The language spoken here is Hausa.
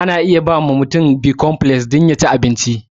Ana iya bawa mutum bikonfleks dom ya ci abinci.